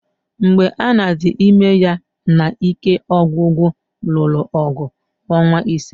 Mgbe Anna dị ime, ya na ike ọgwụgwụ lụrụ ọgụ ọnwa ịse